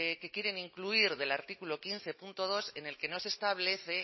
que quieren incluir del artículo quince punto dos en el que no se establece